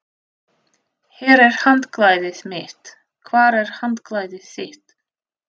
Hér er handklæðið mitt. Hvar er handklæðið þitt?